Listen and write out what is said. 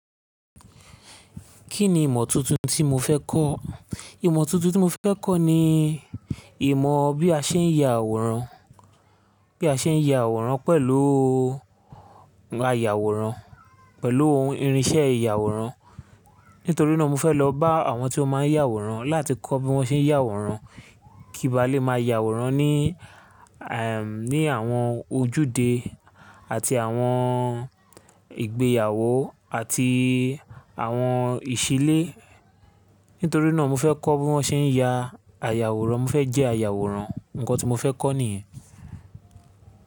Kí ni ìmọ̀ tuntun tí mo fẹ́ kọ́? Ìmọ̀ tuntun tí mo fẹ́ kọ́ ni ìmọ̀ bí a ṣe ń ya àwòrán, bí a ṣe ń ya àwòrán pẹ̀lú a yàwòrán, pẹ̀lú irinṣẹ́ ìyàwòrán. Nítorí náà mo fẹ́ lọ bá àwọn tí ó máa ń yàwòrán láti kọ́ bí wọ́n ṣe ń yàwòrán kí n ba lè máa yàwòrán ní, ẹm, ní àwọn ojúde àti àwọn ìgbéyàwó àti àwọn ìṣílé. Nítorí náà mo fẹ́ kọ́ bí wọ́n ṣe ń ya àyàwòrán. Mo fẹ́ jẹ́ àyàwòrán. Ǹkan tí mo fẹ́ kọ́ nìyẹn.